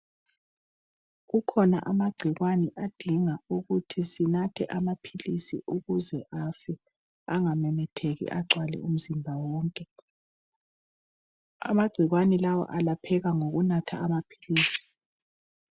Kukhona amagciwane adinga ukuthi sinathe amaphilisi ukuze afe engamemetheki agcwale umzimba wonke. Amagciwani lawa alapheka ngokunatha amaphilisi.